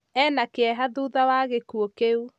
Ena kĩeha thutha wa gĩkuũ kĩu